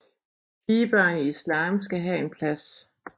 Pigebørn i islam skal have en plads